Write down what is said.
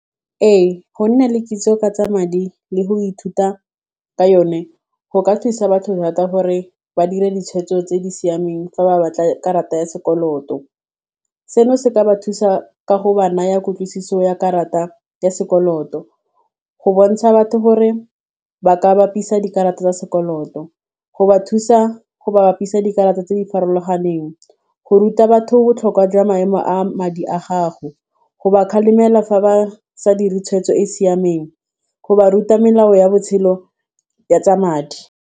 Ee, go nna le kitso ka tsa madi le go ithuta ka yone go ka thusa batho thata gore ba dira ditshwetso tse di siameng fa ba batla karata ya sekoloto, seno se ka ba thusa ka go ba naya kutlwisiso ya karata ya sekoloto go bontsha batho gore ba ka bapisa dikarata tsa sekoloto, go ba thusa go bapisa dikarata tse di farologaneng, go ruta batho botlhokwa jwa maemo a madi a gago, go ba kgalemela fa ba sa dire tshwetso e e siameng, go ba ruta melao ya botshelo ya tsa madi.